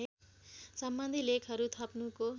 सम्बन्धी लेखहरू थप्नुको